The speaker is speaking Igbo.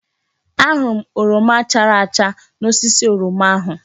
Ahụrụ m oroma chara acha n'osisi oroma ahụ.